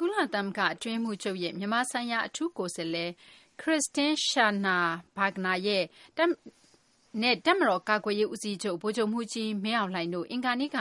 ကုလသမဂ္ဂ အတွင်းရေးမှူးချုပ်ရဲ့ မြန်မာဆိုင်ရာ အထူးကိုယ်စားလှယ် မစ္စ Christine Schraner Burgener နဲ့ တပ်မတော် ကာကွယ်ရေး ဦးစီးချုပ် ဗိုလ်ချုပ်မှူးကြီး မင်းအောင်လှိုင်တို့ အင်္ဂါနေ့က